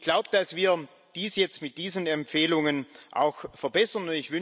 Und ich glaube, dass wir dies jetzt mit diesen Empfehlungen auch verbessern.